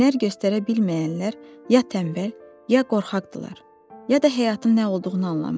Hünər göstərə bilməyənlər ya tənbəl, ya qorxaqdırlar, ya da həyatın nə olduğunu anlamırlar.